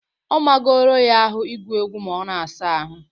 Ọ magoro ya ahụ ịgụ egwu ma ọ na-asa ahụ